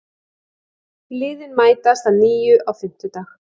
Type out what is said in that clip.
Liðin mætast að nýju á fimmtudag